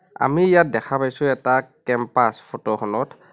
আমি ইয়াত দেখা পাইছোঁ এটা কেম্পাছ ফটোখনত।